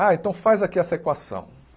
Ah, então faz aqui essa equação.